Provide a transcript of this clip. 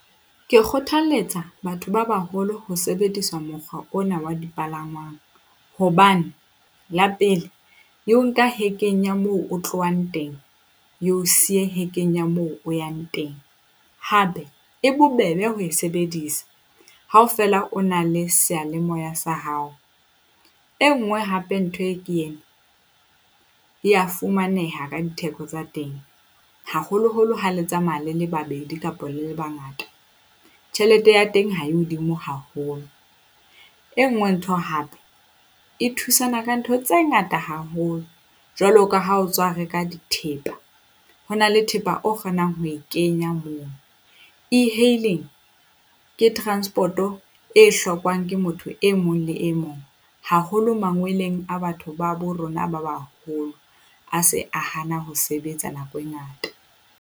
Ke kgothaletsa batho ba baholo ho sebedisa mokgwa ona wa dipalangwang hobane la pele, e o nka hekeng moo o tlohang teng. E o siye hekeng moo o yang teng, hape e bobebe ho e sebedisa ha o fela o na le sealemoya sa hao. E nngwe hape ntho e ke ena, e ya fumaneha ka ditheko tsa teng haholoholo ha le tsamaya le le babedi kapa le le bangata. Tjhelete ya teng ha e hodimo haholo. E nngwe ntho hape e thusana ka ntho tse ngata haholo jwalo ka ha o tswa reka dithepa, ho na le thepa o kgonang ho e kenya moo. E-hailing ke transport-o e hlokwang ke motho e mong le e mong haholo mangweleng a batho ba bo rona ba baholo, a se a hana ho sebetsa nako e ngata.